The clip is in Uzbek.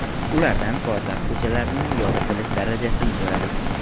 Ulardan poytaxt ko‘chalarini yoritilish darajasini so‘radik.